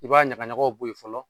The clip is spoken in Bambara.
I b'a ɲagaɲagaw bɔ yen fɔlɔ